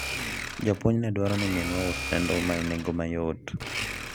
japuonj ne dwaro ni minwa ousne nduma e nengo mayot